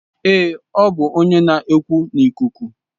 Ee, ọ bụ onye na-ekwu n'ikuku.